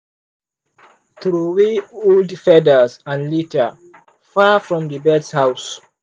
throway old feathers and litter far from the birds house.